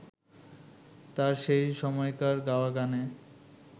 তাঁর সেই সময়কার গাওয়া গানে